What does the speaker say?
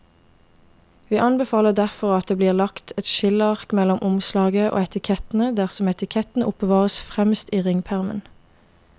Vi anbefaler derfor at det blir lagt et skilleark mellom omslaget og etikettene dersom etikettene oppbevares fremst i ringpermen.